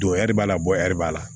Donyɛrɛ b'a la bɔri b'a la